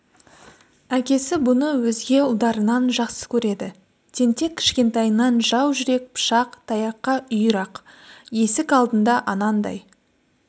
әкесі бұны өзге ұлдарынан жақсы көреді тентек кішкентайынан жау жүрек пышақ таяққа үйір-ақ есік алдында анандай